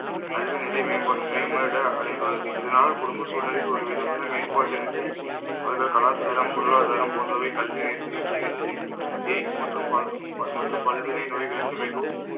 கல்வி நிலை மேம்ப~ மேம்பட அடைந்துள்ளது. இதனால், குடும்ப சூழ்நிலையில் ஒருவிதமான மேம்பாட்டு நிலை கலாச்சாரம், பொருளாதாரம் போன்றவை கல்வி நிர்ணயம் செய்கிறது. AIDS மற்றும் பால்~ பல்~ மற்றும் பல்வினை நோய்களுக்கு மிகவும்